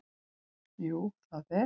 Jú það er